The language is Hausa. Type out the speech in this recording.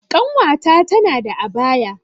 Ƙanwata tana da abaya